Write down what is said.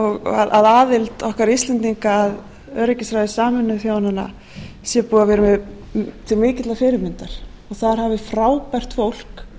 og að aðild okkar íslendinga að öryggisráði sameinuðu þjóðanna sé búið að vera til mikillar fyrirmyndar og þar hafi frábært fólk